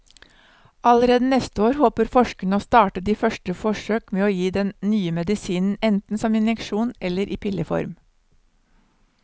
Allerede neste år håper forskerne å starte de første forsøk med å gi den nye medisinen enten som injeksjon eller i pilleform.